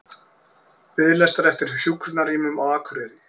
Biðlistar eftir hjúkrunarrýmum á Akureyri